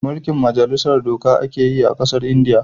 Mulkin majalisar doka a ke yi a kasan indiya